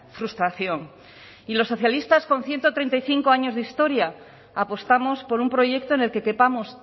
frustración y las socialistas con ciento treinta y cinco años de historia apostamos por un proyecto en el que quepamos